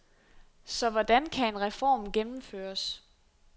Så hvordan kan en reform gennemføres.